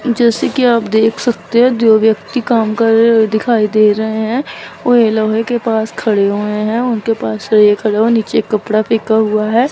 जैसे कि आप देख सकते है दो व्यक्ति काम कर रहे दिखाई दे रहे है वे लोहे के पास खड़े हुए है उनके पास एक नीचे कपड़ा फेंका हुआ है।